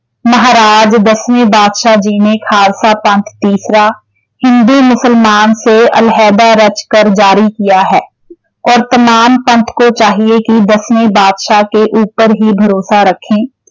ਮਹਾਰਾਜ ਦਸਵੇਂ ਪਾਤਸ਼ਾਹ ਜੀ ਨੇ ਖਾਲਸਾ ਪੰਥ ਤੀਸਰਾ, ਹਿੰਦੂ ਮੁਸਲਮਾਨ ਸੇ ਅਲਹਿਦਾ ਰਚ ਕਰ ਜਾਰੀ ਕੀਆ ਹੈ, ਔਰ ਤਮਾਮ ਪੰਥ ਕੋ ਚਾਹੀਏ ਕਿ ਦਸਵੇਂ ਪਾਤਸ਼ਾਹ ਕੇ ਉਪਰ ਹੀ ਭਰੋਸਾ ਰਖੇਂ।